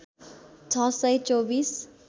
६ सय २४